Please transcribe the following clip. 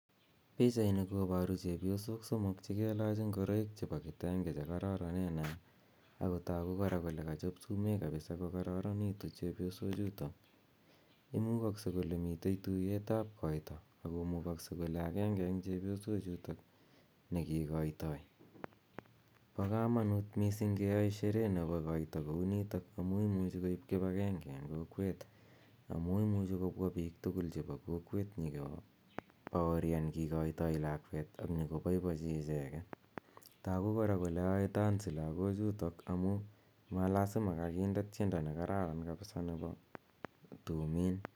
Pichaini koparu chepyosok somok che kelach ngoroik chepo kitenge che kararanen. Ako tagu kora kole kachop sumek kokararanitu chepyosochutok. Imukakse kole mitej tuyet ap koita, ako mugakse kole akenge eng' chepyosochutok ne kikaitai. Po kamanut missing keyai shere nepo koita kounitok amu imuchi koip kipangenge eng' kokweet amu imuchi kopwa piik tugul chepo kokweet nyu kopaorian kikaitai lakweet ak nyu ko poipochi icheget. Tagu kora kole ae tansi lagochutok amu lasima kakinde tiendo ne kararan kapisa nepo tumiin.